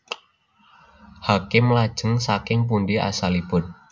Hakim Lajeng saking pundi asalipun